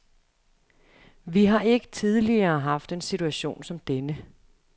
Vi har ikke tidligere haft en situation som denne.